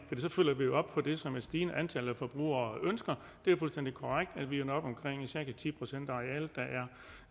så følger vi jo op på det som et stigende antal af forbrugere ønsker det er fuldstændig korrekt at vi når op på omkring cirka ti procent